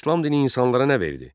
İslam dini insanlara nə verdi?